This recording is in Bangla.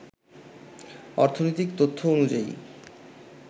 অর্থনৈতিক তথ্য অনুযায়ী